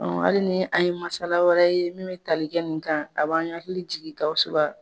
Ali ni an ye masala wɛrɛ ye min bɛ tali kɛ nin kan a b'an hakili jigin GAWUSU?